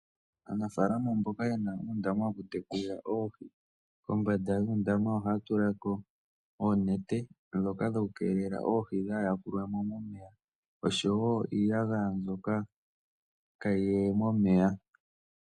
Aanafaalama mboka yena uundama woku tekula oohi, kombanda yuundama ohaya tula ko oonete ndhoka dhoku keelela oohi dhaa yakulwe mo, oshowo iiyagaya mbyoka kaayi ye momeya.